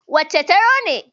Wancen taro ne.